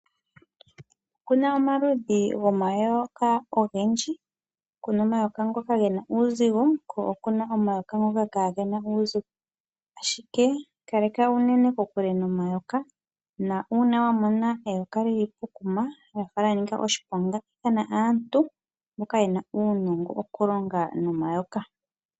Opuna omaludhi gomayoka ogendji., puna omayoka ngoka gena uuzigo po opuna nangoka kaagena uuzigo. Ashike ikaleka unene kokule nomayoka na una wamona eyoka li li pokuma lyafa lyanika oshiponga iithana aantu mboka yena uunongo wokulonga nomayoka.